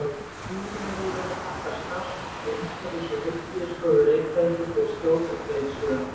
Vísindavefurinn þakkar starfsfólki Umhverfis- og heilbrigðisstofu Reykjavíkur fyrir skjót og greið svör.